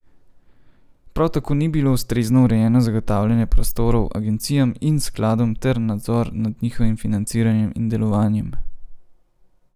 Prav tako ni bilo ustrezno urejeno zagotavljanje prostorov agencijam in skladom ter nadzor nad njihovim financiranjem in delovanjem.